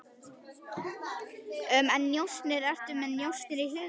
En njósnir, ertu með njósnir í huga?